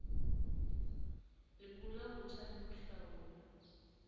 lekola botjha le ho hlaola